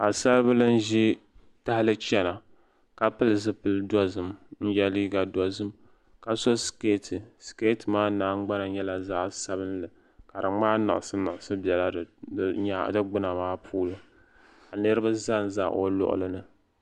Paɣisaribihi n-ʒi tahili n-chana ka pili zuɣupil' dɔzim ka ye liiga dɔzim ka so sikeeti sikeeti maa nahingbana nyɛla zaɣ' sabinli ja di gbaai liɣisiliɣisi biɛla di gbuna maa puuni ka niriba zanza o luɣuli ni